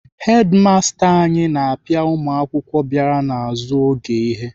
Hedimasta anyị na-apịa ụmụakwụkwọ bịara n'azụ oge ihe.